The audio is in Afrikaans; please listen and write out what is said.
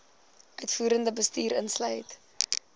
uitvoerende bestuur insluit